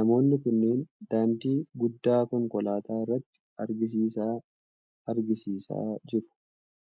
Namoonni kunneen daandii guddaa konkolaataa irratti agarsiisa agarsiisaa jiru.